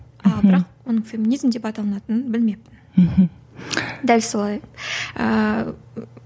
ал бірақ оның феминизм деп аталынатын білмеппін мхм дәл солай ааа